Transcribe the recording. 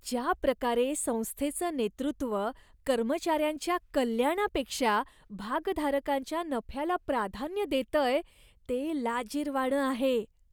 ज्याप्रकारे संस्थेचं नेतृत्व कर्मचाऱ्यांच्या कल्याणापेक्षा भागधारकांच्या नफ्याला प्राधान्य देतंय, ते लाजिरवाणं आहे.